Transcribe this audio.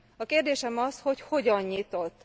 A kérdésem az, hogy hogyan nyitott?